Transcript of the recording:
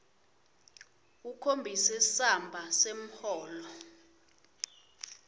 ukhombise samba semholo